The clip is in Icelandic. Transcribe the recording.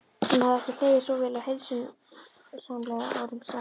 Hann hafði ekki hlegið svo vel og heilsusamlega árum saman.